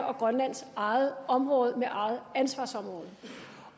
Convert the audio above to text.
og grønlands eget område med eget ansvarsområde